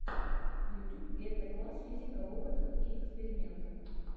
ютюб гетэкласс физика в опытах и экспериментах